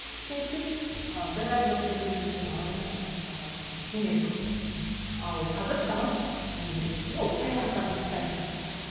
ештеңе етпейді ы біраз уақыттан кейін мүмкін ала жатарсың басқа ы кеңірек квартира ал қазір саған не керек ну саяхаттағың келсе саяхатта